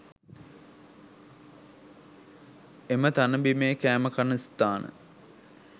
එම තණ බිමේ කෑම කන ස්ථාන